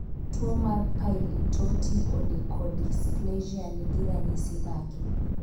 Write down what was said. Tuo mar Pili torti onychodysplasia nigi ranyisi mage?